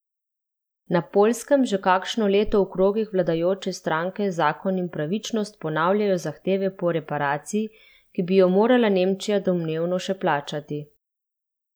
Na Poljskem že kakšno leto v krogih vladajoče stranke Zakon in pravičnost ponavljajo zahteve po reparaciji, ki bi jo morala Nemčija domnevno še plačati.